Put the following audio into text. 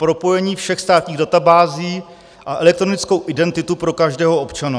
Propojení všech státních databází a elektronickou identitu pro každého občana.